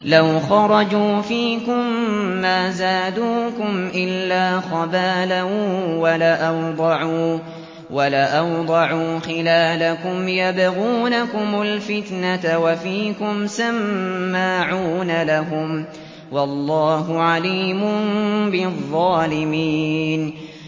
لَوْ خَرَجُوا فِيكُم مَّا زَادُوكُمْ إِلَّا خَبَالًا وَلَأَوْضَعُوا خِلَالَكُمْ يَبْغُونَكُمُ الْفِتْنَةَ وَفِيكُمْ سَمَّاعُونَ لَهُمْ ۗ وَاللَّهُ عَلِيمٌ بِالظَّالِمِينَ